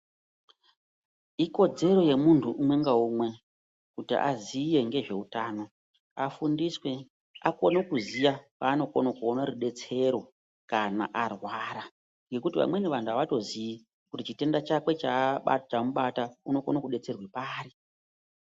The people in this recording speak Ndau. Ikodzero yemuntu umwe ngaumwe kuti aziye ngezveutano afundiswe akone kuziya kwanokone kuona rudetsero kana arwara ngokuti vamweni vantu avatoziyi kuti chitenda chakwe chamubata unokone kudetserwa pari.